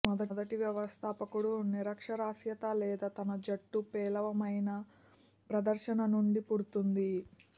మొదటి వ్యవస్థాపకుడు నిరక్షరాస్యత లేదా తన జట్టు పేలవమైన ప్రదర్శన నుండి పుడుతుంది